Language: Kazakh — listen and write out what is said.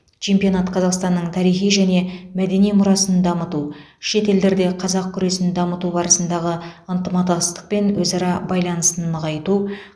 чемпионат қазақстанның тарихи және мәдени мұрасын дамыту шет елдерде қазақ күресін дамыту барысындағы ынтыматастық пен өзара байланысын нығайту